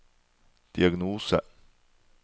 diagnose